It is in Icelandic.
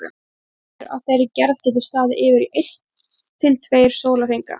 þrumuveður af þeirri gerð geta staðið yfir í einn til tveir sólarhringa